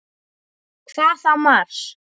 Síðan leit hann varlega upp.